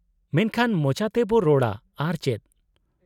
-ᱢᱮᱱᱠᱷᱟᱱ ᱢᱚᱪᱟ ᱛᱮᱵᱚ ᱨᱚᱲᱟ ᱟᱨ ᱪᱮᱫ ᱾